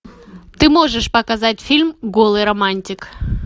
ты можешь показать фильм голый романтик